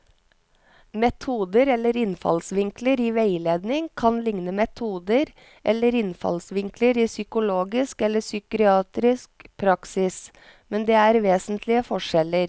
Metoder eller innfallsvinkler i veiledning kan likne metoder eller innfallsvinkler i psykologisk eller psykiatrisk praksis, men det er vesentlige forskjeller.